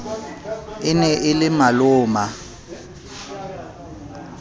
e ne e le maloma